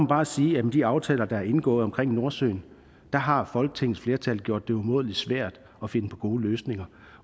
bare sige at med de aftaler der er indgået om nordsøen har folketingets flertal gjort det umådelig svært at finde gode løsninger